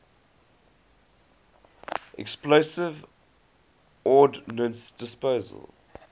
explosive ordnance disposal